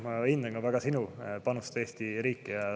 Ma hindan ka väga sinu panust Eesti riiki.